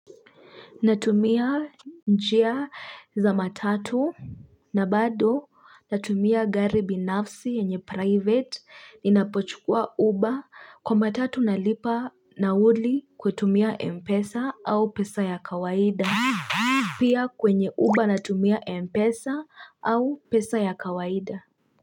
Natumia njia za matatu na bado natumia gari binafsi yanye private. Ninapochukua uba kwa matatu na lipa nauli kwa kutumia Mpesa au pesa ya kawaida. Pia kwenye uba natumia Mpesa au pesa ya kawaida.